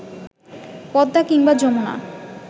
পদ্মা কিংবা যমুনা